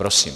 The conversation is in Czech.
Prosím.